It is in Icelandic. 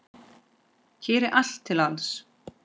Hér er allt til alls.